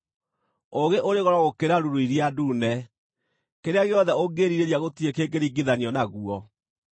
Ũũgĩ ũrĩ goro gũkĩra ruru iria ndune; kĩrĩa gĩothe ũngĩĩrirĩria gũtirĩ kĩngĩringithanio naguo.